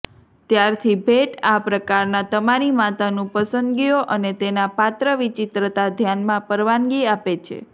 ત્યારથી ભેટ આ પ્રકારના તમારી માતાનું પસંદગીઓ અને તેના પાત્ર વિચિત્રતા ધ્યાનમાં પરવાનગી આપે છે